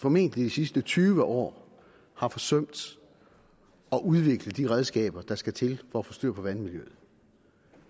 formentlig de sidste tyve år har forsømt at udvikle de redskaber der skal til for at få styr på vandmiljøet